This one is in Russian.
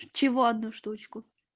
чего одну штучку